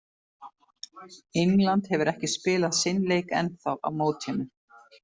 England hefur ekki spilað sinn leik ennþá á mótinu.